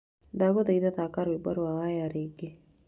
Ndagũthaitha thakira rwĩmbo rwa wyre rĩngĩ.